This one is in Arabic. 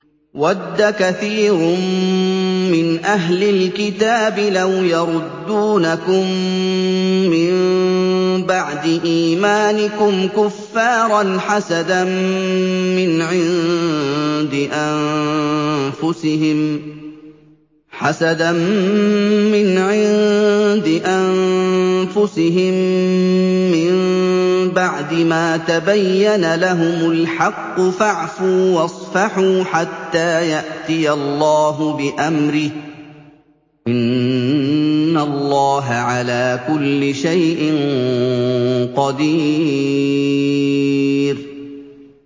وَدَّ كَثِيرٌ مِّنْ أَهْلِ الْكِتَابِ لَوْ يَرُدُّونَكُم مِّن بَعْدِ إِيمَانِكُمْ كُفَّارًا حَسَدًا مِّنْ عِندِ أَنفُسِهِم مِّن بَعْدِ مَا تَبَيَّنَ لَهُمُ الْحَقُّ ۖ فَاعْفُوا وَاصْفَحُوا حَتَّىٰ يَأْتِيَ اللَّهُ بِأَمْرِهِ ۗ إِنَّ اللَّهَ عَلَىٰ كُلِّ شَيْءٍ قَدِيرٌ